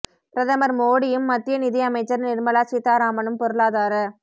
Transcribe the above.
பிரதமர் மோடியும் மத்திய நிதி அமைச்சர் நிர்மலா சீதாராமனும் பொருளாதார